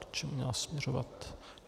K čemu měla směřovat?